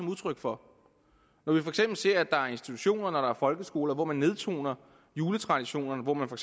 udtryk for når vi for eksempel ser at der er institutioner og folkeskoler hvor man nedtoner juletraditionerne hvor man for